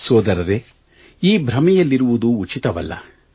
ಸೋದರರೇ ಈ ಭ್ರಮೆಯಲ್ಲಿರುವುದು ಉಚಿತವಲ್ಲ